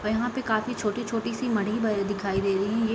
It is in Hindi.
और यहाँ पे काफी छोटी छोटी से मडी भरे दिखाई दे रही है ये |